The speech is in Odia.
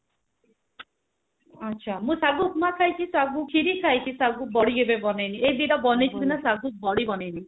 ଆଚ୍ଛା ମୁଁ ସାଗୁ ଉପମା ଖାଇଛି ସାଗୁ ଖିରୀ ଖାଇଛି ସାଗୁ ବଢି କେବେ ବନେଇନି ଏଇ ଦିଟା ବନେଇଛି ହେଲେ ସାଗୁ ବଢି ବନେଇନି